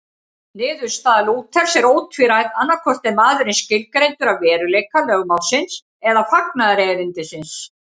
Niðurstaða Lúthers er ótvíræð, annaðhvort er maðurinn skilgreindur af veruleika lögmálsins eða fagnaðarerindisins.